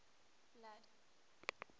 blood